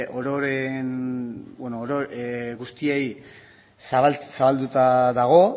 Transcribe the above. ororen guztiei zabalduta dago